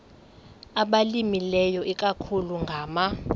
abalimileyo ikakhulu ngama